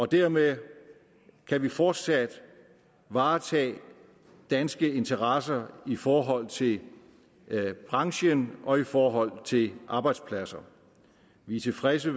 dermed kan vi fortsat varetage danske interesser i forhold til branchen og i forhold til arbejdspladser vi er tilfredse